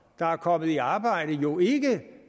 der er kommet i arbejde jo ikke